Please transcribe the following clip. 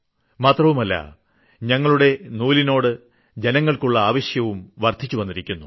മാത്രമവുമല്ല ഞങ്ങളുടെ നൂലിനോട് ജനങ്ങൾക്കുള്ള ആവശ്യവും വർദ്ധിച്ചിരിക്കുന്നു